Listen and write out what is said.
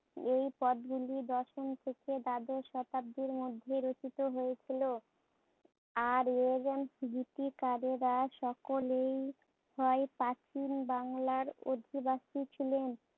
এই পদ গুলি দশম থেকে দ্বাদশ শতাব্দির মধ্যে রচিত হয়েছিলো। আর এই সকলেই হয় প্রাচীন বাংলার অধিবাসী ছিলেন